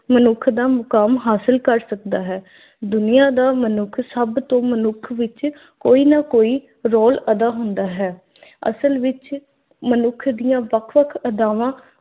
ਮਨੁੱਖ ਦਾ ਮੁਕਾਮ ਹਾਸਲ ਕਰ ਸਕਦਾ ਹੈ। ਦੁਨੀਆਂ ਦਾ ਮਨੁੱਖ ਸਭ ਤੋਂ ਮਨੁੱਖ ਵਿੱਚ ਕੋਈ ਨਾ ਕੋਈ ਰੌਲ ਅਦਾ ਹੁੰਦਾ ਹੈ। ਅਸਲ ਵਿੱਚ ਮਨੁੱਖ ਦੀਆਂ ਵੱਖ-ਵੱਖ ਅਦਾਵਾਂ